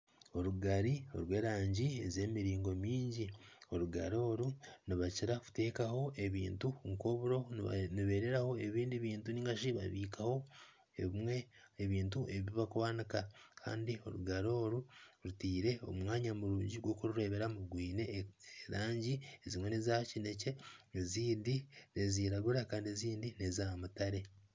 Orugari rw'erangi z'emiringo mingi. Orugari oru nibakiira kuteekaho ebintu nk'oburo nibeereraho ebindi bintu nigashi babikaho ebimwe ebintu ebi bakwanika kandi orugari oru rutairwe omu mwanya murungi gw'okurureeberamu rwine erangi ezimwe neeza kinekye ezindi niziragura kandi ezindi neeza mutare.